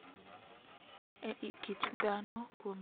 E I kit ngima dhano kuom tieng` mang`eny.